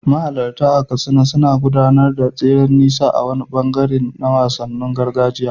Mahalarta a Katsina suna gudanar da tseren nisa a wani ɓangare na wasanninsu na gargajiya.